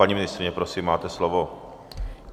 Paní ministryně, prosím, máte slovo.